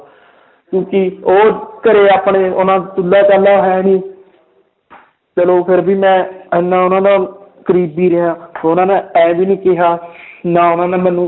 ਕਿਉਂਕਿ ਉਹ ਘਰੇ ਆਪਣੇ ਉਹਨਾਂ ਚੁੱਲਾ ਚਾਲਾ ਹੈ ਨੀ ਚਲੋ ਫਿਰ ਵੀ ਮੈਂ ਇੰਨਾ ਉਹਨਾਂ ਨਾਲ ਕਰੀਬੀ ਰਿਹਾ ਉਹਨਾਂ ਨੇ ਇਉਂ ਵੀ ਨੀ ਕਿਹਾ ਨਾ ਉਹਨਾਂ ਨੇ ਮੈਨੂੰ